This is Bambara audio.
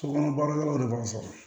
Sokɔnɔ baarakɛlaw de b'a sɔrɔ